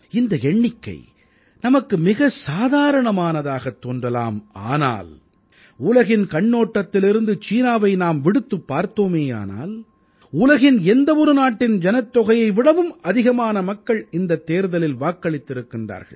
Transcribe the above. இந்த எண்ணிக்கை நமக்கு மிகச் சாதாரணமானதாகத் தோன்றலாம் ஆனால் உலகின் கண்ணோட்டத்திலிருந்து சீனாவை நாம் விடுத்துப் பார்த்தோமேயானால் உலகின் எந்த ஒரு நாட்டின் ஜனத்தொகையை விடவும் அதிகமான மக்கள் இந்தத் தேர்தலில் வாக்களித்திருக்கிறார்கள்